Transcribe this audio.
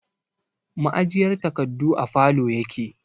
Ma'ajiyar takardu a falow yake